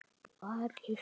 Ari hló.